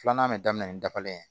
Filanan bɛ daminɛ ni dabalen ye